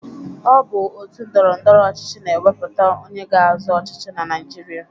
Ọ bụ òtù ndọrọ ndọrọ ọchịchị na-ewepụta onye ga-azọ ọchịchị na Naịjirịa.